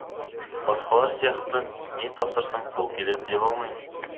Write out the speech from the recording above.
басқалар сияқты не тапсырсаң сол келеді дей алмаймын